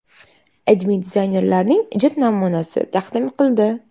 AdMe dizaynerlarning ijod namunasini taqdim qildi .